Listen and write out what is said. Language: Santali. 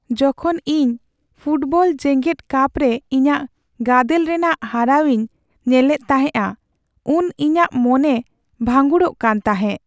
ᱡᱚᱠᱷᱚᱱ ᱤᱧ ᱯᱷᱩᱴᱵᱚᱞ ᱡᱮᱜᱮᱫ ᱠᱟᱯ ᱨᱮ ᱤᱧᱟᱹᱜ ᱜᱟᱫᱮᱞ ᱨᱮᱱᱟᱜ ᱦᱟᱨᱟᱣ ᱤᱧ ᱧᱮᱞᱮᱫ ᱛᱟᱦᱮᱸᱼᱟ ᱩᱱ ᱤᱤᱧᱟᱹᱜ ᱢᱚᱱᱮ ᱵᱷᱟᱺᱜᱩᱲᱚᱜ ᱠᱟᱱ ᱛᱟᱦᱮᱸᱜ ᱾